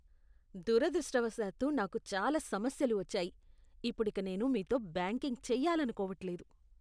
దురదృష్టవశాత్తు నాకు చాలా సమస్యలు వచ్చాయి, ఇప్పుడిక నేను మీతో బ్యాంకింగ్ చేయాలనుకోవట్లేదు.